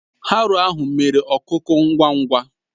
Haroo ahụ mere ọkuku ngwa ngwa